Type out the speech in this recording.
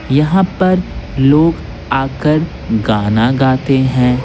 यहां पर लोग आकर गाना गाते हैं।